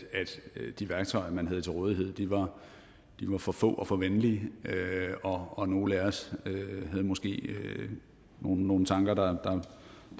de værktøjer man havde til rådighed var for få og for venlige og nogle af os havde måske nogle tanker der